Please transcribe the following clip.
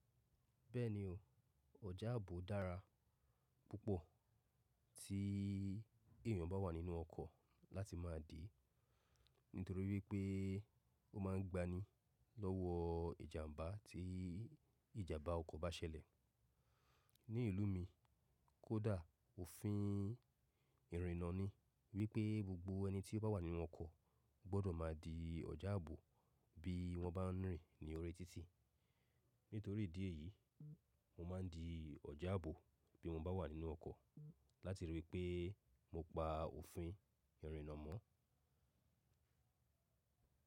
Bẹ́ẹ̀ni o, ọ̀já àbò dára púpọ̀ tí èèyàn bá wà nínú ọkọ̀ láti máa dì nítorí wípé ó ma ń gbaní lọ́wọ́ ìjàmbá tí ìjàmbá ọkọ̀ bá ṣẹlẹ̀. Ní ìlú mi, Kódà òfin ìrìnnà ni wípé gbogbo ẹni tí ó bá wà nínú ọkọ̀ gbọdọ̀ máa di ọ̀já àbò bí wọ́n bá ń rìn ní orí títì. Nítorí ìdí èyí, mo máa ń di ọ̀já àbò bí mo bá wà nínú ọkọ̀ láti rí i wípé mo pa òfin ìrìnnà mọ́.